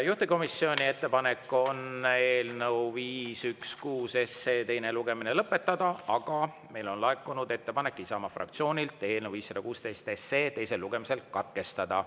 Juhtivkomisjoni ettepanek on eelnõu 516 teine lugemine lõpetada, aga meile on laekunud Isamaa fraktsioonilt ettepanek eelnõu 516 teine lugemine katkestada.